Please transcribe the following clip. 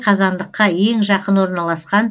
қазандыққа ең жақын орналасқан